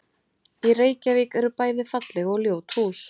Í Reykjavík eru bæði falleg og ljót hús.